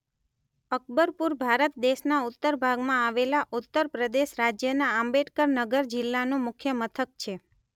અકબરપુર ભારત દેશના ઉત્તર ભાગમાં આવેલા ઉત્તર પ્રદેશ રાજ્યના આંબેડકર નગર જિલ્લાનું મુખ્ય મથક છે.